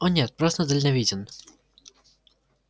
о нет просто дальновиден